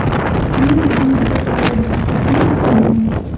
Uning bugungi beqarorligi qachon boshlangan?